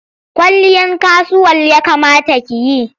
Kwalliyar kasuwal ya kamata ki yi.